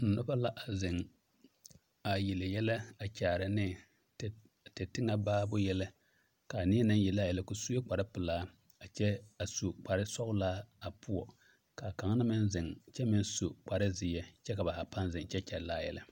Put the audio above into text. Noba la a zeŋ a yele yɛlɛ a kyaara ne te teŋɛ baaroo yɛlɛ ka a neɛ naŋ yele a yɛlɛ o su la kpare pelaa a kyɛ su kparesɔglaa a poɔ zeŋ kyɛ meŋ su kyɛ ka ba zaa paa zeŋ kyɛ kyɛllɛ a yɛlɛ.